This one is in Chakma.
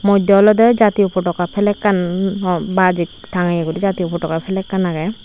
modde olodey jatiyo potoga flagkan no baaj ek tangeye guri jatiyo potoga flagkan agey.